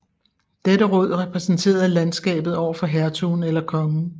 Dette råd repræsenterede landskabet over for hertugen eller kongen